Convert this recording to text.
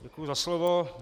Děkuji za slovo.